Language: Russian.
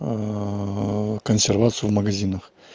консервацию в магазинах